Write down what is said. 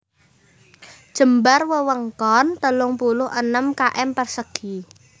Jembar wewengkon telung puluh enem km persegi